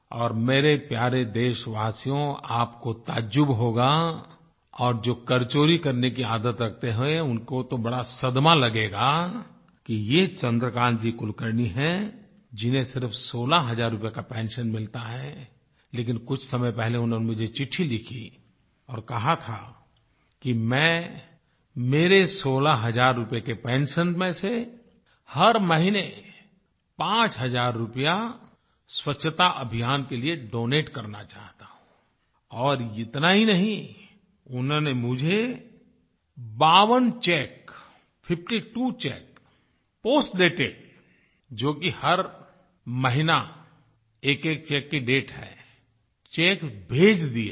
और मेरे प्यारे देशवासियो आपको ताज्जुब होगा और जो करचोरी करने की आदत रखते हैं उनको तो बड़ा सदमा लगेगा कि ये चन्द्रकान्त जी कुलकर्णी हैं जिन्हें सिर्फ 16 हजार रूपये का पेंशन मिलता है लेकिन कुछ समय पहले उन्होंने मुझे चिट्ठी लिखी और कहा था कि मैं मेरे 16 हजार रुपये के पेंशन में से हर महीने 5 हजार रुपया स्वच्छता अभियान के लिए डोनेट करना चाहता हूँ और इतना ही नहीं उन्होंने मुझे 52 cheque fifty two cheque postdated जो कि हर महीना एकएक चेक की डेट है चेक भेज दिए हैं